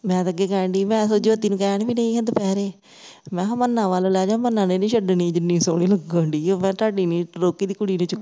ਮੈਂ ਤੇ ਅਗੇ ਕਹਿਣ ਡਈ ਸੀ ਮੈਂ ਤੇ ਇਹੋ ਜਹੀ ਨੂੰ ਕਹਨ ਵੀਡਈ ਸੀ ਦੁਪਹਿਰੇ ਮੈਂ ਕਿਹਾ ਮੰਨਣਾ ਵਲ ਲੈ ਜਾ ਮੰਨਣਾ ਨੇ ਨਹੀਂ ਛਡਨੀ ਜਿੰਨੀ ਸੋਹਣੀ ਲਗਨ ਡਈ ਮੈਂ ਕਿਹਾ ਤੁਹਾਡੀ ਨਹੀਂ ਰੋਗੀ ਦੀ ਕੁੜੀ ਨੇ ਚੁੱਕਿਆ